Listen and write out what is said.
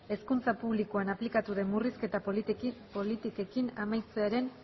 hezkuntza publikoan aplikatu den murrizketa politikekin amaitzearen